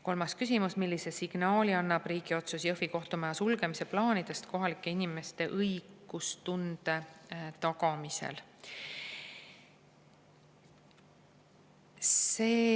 Kolmas küsimus: "Millise signaali annab riigi otsus Jõhvi kohtumaja sulgemise plaanidest kohalike inimeste õigustunde tagamisel?